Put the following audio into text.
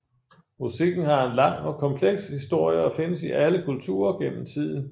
Musikken har en lang og kompleks historie og findes i alle kulturer gennem tiden